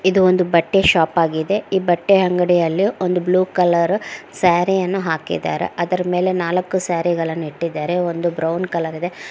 ಇದು ಒಂದು ಬಟ್ಟೆ ಶಾಪ್ ಆಗಿದೆ ಈ ಬಟ್ಟೆ ಅಂಗಡಿಯಲ್ಲಿ ಒಂದು ಬ್ಲೂ ಕಲರ್ ಸಾರಿ ಅನ್ನು ಹಾಕಿದ್ದಾರೆ ಅದರ ಮೇಲೆ ನಾಲ್ಕು ಸಾರಿ ಗಳನ್ನು ಇಟ್ಟಿದ್ದಾರೆ ಒಂದು ಬ್ರೌನ್ ಕಲರ್ ಇದೆ.